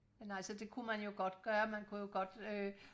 nej så det kunne man jo godt gøre man kunne godt øh